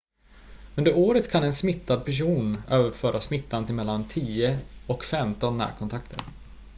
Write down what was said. under året kan en smittad person överföra smittan till mellan 10 och 15 närkontakter